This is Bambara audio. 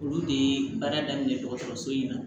Olu de ye baara daminɛ dɔgɔtɔrɔso in na